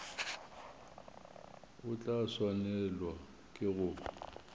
o tla swanelwa ke go